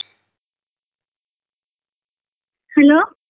Hello.